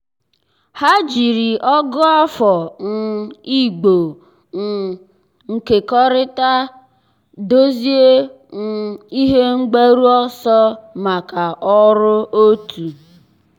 há jìrì ọ̀gụ́àfọ̀ um ị̀gbò um nkekọrịta dòzìé um ihe mgbaru ọsọ màkà ọ́rụ́ otu.